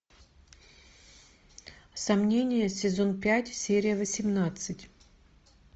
сомнения сезон пять серия восемнадцать